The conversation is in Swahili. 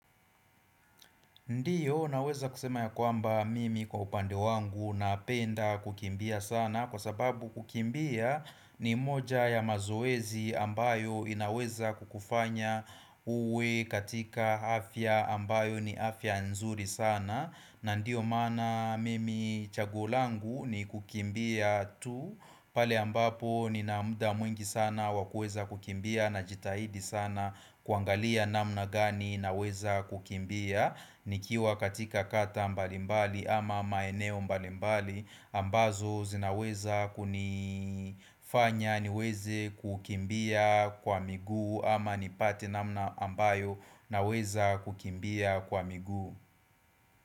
Ndiyo naweza kusema ya kwamba mimi kwa upande wangu napenda kukimbia sana kwa sababu kukimbia ni moja ya mazoezi ambayo inaweza kukufanya uwe katika afya ambayo ni afya nzuri sana. Na ndiyo maana mimi chaguo langu ni kukimbia tu. Pale ambapo ni muda mwingi sana wa kuweza kukimbia najitahidi sana kuangalia namna gani naweza kukimbia nikiwa katika kata mbalimbali ama maeneo mbalimbali ambazo zinaweza kunifanya niweze kukimbia kwa miguu ama nipate namna ambayo naweza kukimbia kwa miguu.